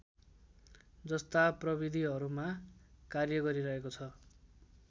जस्ता प्रविधिहरूमा कार्यगरिरहेको छ